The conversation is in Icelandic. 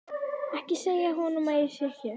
Ekki segja honum að ég sé hér.